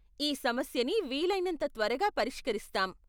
ఈ సమస్యని వీలైనంత త్వరగా పరిష్కరిస్తాం.